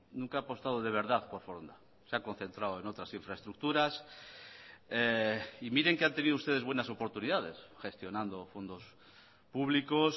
nunca ha apostado de verdad por foronda se ha concentrado en otras infraestructuras y miren que han tenido ustedes buenas oportunidades gestionando fondos públicos